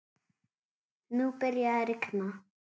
Nú byrjaði að rigna.